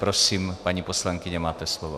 Prosím, paní poslankyně, máte slovo.